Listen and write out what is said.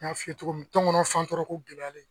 N y'a f'i ye togo min tɔngɔnɔ fantɔrɔ ko gɛlɛyalen